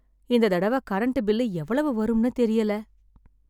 இந்த தடவை current bill எவ்வளவு வரும்னு தெரியல.